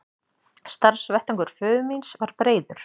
Starfsvettvangur föður míns var breiður.